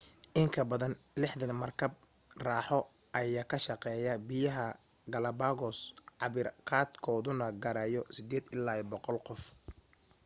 inkabadan 60 markab raaxo ayaa ka shaqeeya biyaha galapagos cabir qaad kooduna gaarayo 8 ilaa 100 qof